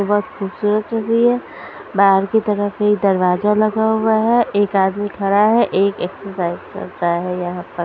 बहुत खूबसूरत हुई हैं बाहर की तरफ ये दरवाजा लगा हुआ हैं एक आदमी खड़ा हैं एक एक्सरसाइज कर रहा हैं यहाँ पर --